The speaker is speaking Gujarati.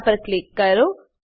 તેના પર ક્લિક કરો